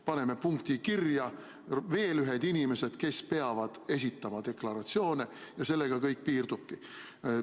Paneme kirja veel ühed inimesed, kes peavad esitama deklaratsioone, ja sellega kõik piirdubki.